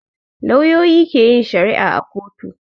Lauyoyi ke yin shari'a a kotu